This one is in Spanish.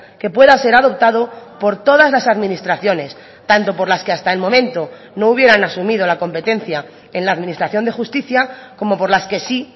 que pueda ser adoptado por todas las administraciones tanto por las que hasta el momento no hubieran asumido la competencia en la administración de justicia como por las que sí